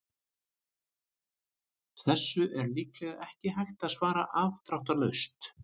Þessu er líklega ekki hægt að svara afdráttarlaust.